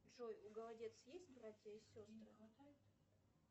джой у голодец есть братья и сестры